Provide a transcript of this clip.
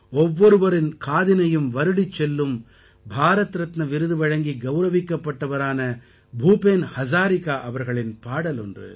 ஒவ்வொருவரின் காதினையும் வருடிச் செல்லும் பாரத் ரத்ன விருது வழங்கி கௌரவிக்கப்பட்டவரான பூபேன் ஹஸாரிகா அவர்களின் பாடல் ஒன்று